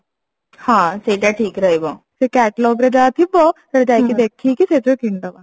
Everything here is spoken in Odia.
ହଁ ସେଇଟା ଠିକ ରହିବ ସେ Catlogue ରେ ଯାହା ଥିବ ସେଟା ଯାଇକି ଦେଖିକି ସେଇଟା କିଣିଦେବା